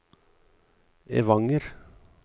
Evanger